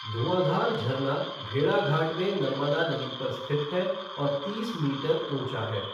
धुआँधार झरना भेड़ाघाट में नर्मदा नदी पर स्थित है और तीस मीटर ऊँचा है।